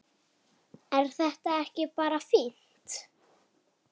Er þetta ekki bara fínt?